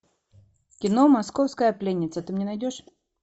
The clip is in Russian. кино московская пленница ты мне найдешь